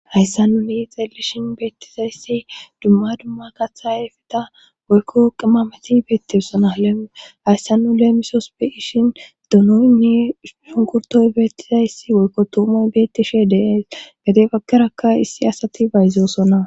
hayssa nuni xelishin beettizayssi dumma dumma kaththae fida woykko qimmameti beettessona hayssa nu leemisos be ishin dunoynni shunkurtoy beettizayssi woykko toumoy beettishe deyays gade pakarakka issi asati bayzosona